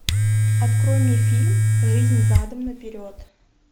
открой мне фильм жизнь задом наперед